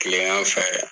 Kilegan fɛ